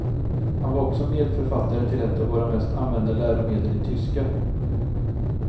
Han var också medförfattare till ett av våra mest använda läromedel i tyska.